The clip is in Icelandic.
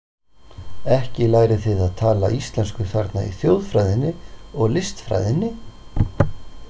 Ekki lærið þið að tala íslensku þarna í þjóðfræðinni og listfræðinni.